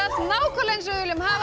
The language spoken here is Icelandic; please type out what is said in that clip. nákvæmlega eins og við viljum hafa